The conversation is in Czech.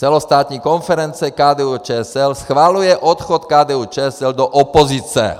Celostátní konference KDU-ČSL schvaluje odchod KDU-ČSL do opozice.